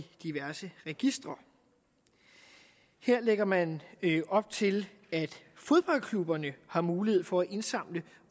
diverse registre her lægger man op til at fodboldklubberne har mulighed for at indsamle